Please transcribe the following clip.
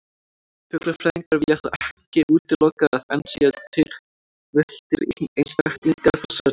Fuglafræðingar vilja þó ekki útilokað að enn séu til villtir einstaklingar þessarar tegundar.